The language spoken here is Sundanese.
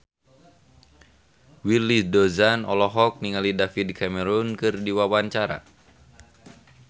Willy Dozan olohok ningali David Cameron keur diwawancara